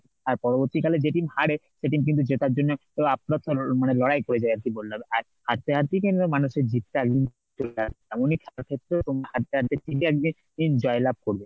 আর পরবর্তীকালে যে team হারে সে team কিন্তু জেতার জন্য আপ্রাণ মানে লড়াই করে যায় আর কি বললে হবে। আর হারতে হারতে কিন্তু মানুষের জিতটা একদিন চলে আসে অনেক ক্ষেত্রে হারতে হারতে তোমরা ঠিকই একদিন জয়লাভ করবে।